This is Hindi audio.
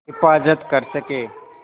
हिफ़ाज़त कर सकें